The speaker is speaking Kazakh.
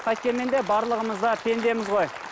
қайткенмен де барлығымыз да пендеміз ғой